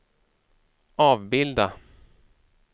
avbilda